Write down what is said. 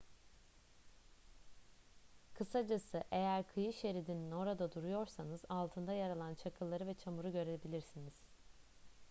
kısacası eğer kıyı şeridinin orada duruyorsanız altında yer alan çakılları ve çamuru görebilirsiniz